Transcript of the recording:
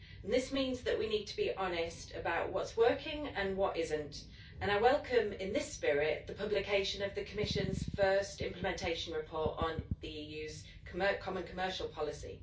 This means that we need to be honest about what's working and what isn't, and I welcome, in this spirit, the publication of the Commission's first implementation report on the EU's common commercial policy.